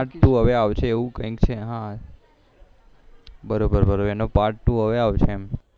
હવે આવશે એવું કઈંક છે હા બરોબર બરોબર એનું પાર્ટ ટુ હવે આવશે